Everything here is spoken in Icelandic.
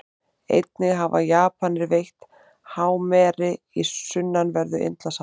Einnig hafa Japanir veitt hámeri í sunnanverðu Indlandshafi.